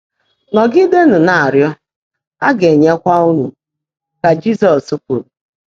“Nọ́gídéénú ná-árị́ọ́, á gá-ènyékwá ụ́nụ́,” kà Jị́zọ́s kwùrú.